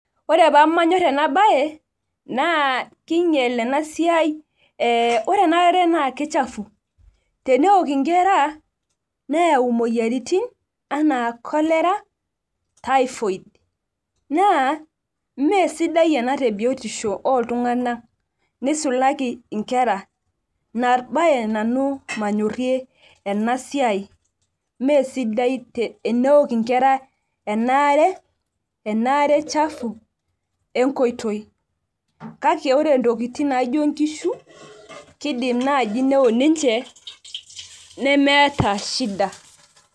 ore pee manyor ena bae, naa kingiel ena siai, ee ore ena are naa kichafu. teneok nkera neyau moyiaritin anaa cholera, typhoid. naa ime sidai ena te biotisho ooltunganak, nisulaki nkera. ina bae nanu manyorie siai, mme sidai teneok nkera ena are chafu enkoitoi. kake ore ntokitin naijo nkishu kidim naaji neok ninche nemeeta shida.